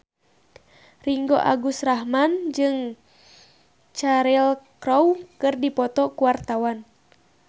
Ringgo Agus Rahman jeung Cheryl Crow keur dipoto ku wartawan